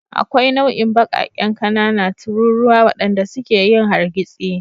Akwai nau'in baƙaƙen ƙanana tururuwa waɗanda suke yin hargitsi.